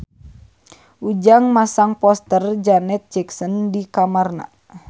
Ujang masang poster Janet Jackson di kamarna